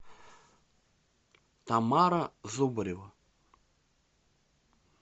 тамара зубарева